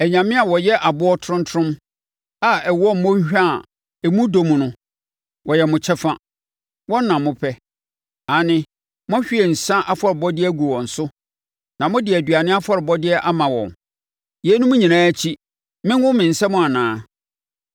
Anyame a wɔyɛ aboɔ tromtrom, a ɛwɔ mmɔnhwa a emu dɔ mu no, wɔyɛ mo kyɛfa. Wɔn na mopɛ. Aane, moahwie nsã afɔrebɔdeɛ agu wɔn so na mode aduane afɔrebɔdeɛ ama wɔn. Yeinom nyinaa akyi, mengo me nsam anaa?